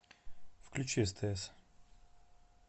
включи стс